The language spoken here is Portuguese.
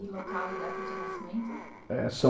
E local e data de nascimento? É são